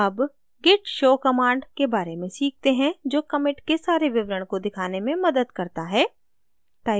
अब git show command के बारे में सीखते हैं जो commit के सारे विवरण को दिखाने में मदद करता है